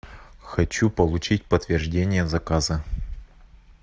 хочу получить подтверждение заказа